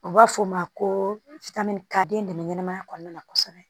U b'a fɔ o ma ko ka den dɛmɛma kɔnɔna na kosɛbɛ